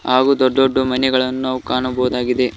ಹಾಗು ದೊಡ್ಡ ದೊಡ್ಡ ಮನೆಗಳನ್ನು ನಾವು ಕಾಣಬಹುದಾಗಿದೆ.